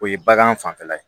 O ye bagan fanfɛla ye